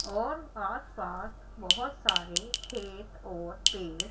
और आस पास बहोत सारे खेत और पेड़--